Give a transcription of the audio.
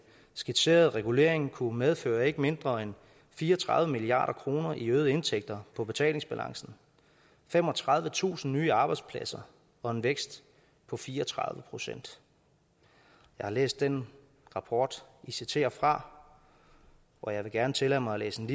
skitserede regulering kunne medføre ikke mindre end fire og tredive milliard kroner i øgede indtægter på betalingsbalancen femogtredivetusind nye arbejdspladser og en vækst på fire og tredive procent jeg har læst den rapport i citerer fra og jeg vil gerne tillade mig at læse et